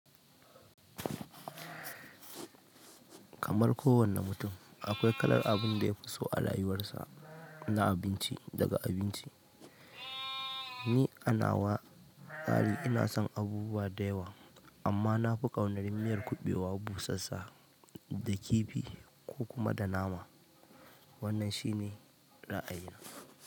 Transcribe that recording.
Kamar kowane mutum, akwai kalar abin da ya fi so a rayuwarsa na abinci daga abinci. Ni anawa tsari ina son abubuwa da yawa, amma na fi ƙaunar miyar kuɓewa busassa da kifi ko kuma da nama. Wannan shine ra'ayina.